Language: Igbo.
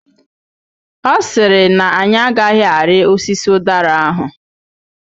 Ọ sịrị na anyị agaghị arị osisi ụdara ahụ.